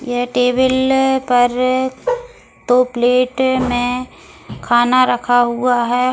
यह टेबल पर तो प्लेट में खाना रखा हुआ है --